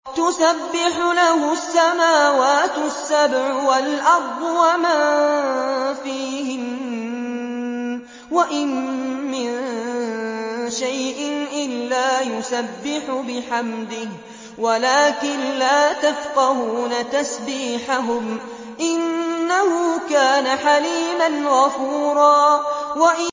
تُسَبِّحُ لَهُ السَّمَاوَاتُ السَّبْعُ وَالْأَرْضُ وَمَن فِيهِنَّ ۚ وَإِن مِّن شَيْءٍ إِلَّا يُسَبِّحُ بِحَمْدِهِ وَلَٰكِن لَّا تَفْقَهُونَ تَسْبِيحَهُمْ ۗ إِنَّهُ كَانَ حَلِيمًا غَفُورًا